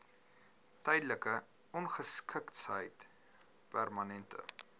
tydelike ongeskiktheid permanente